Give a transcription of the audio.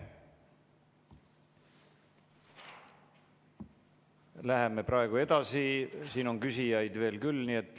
Läheme praegu edasi, siin on küsijaid veel küll.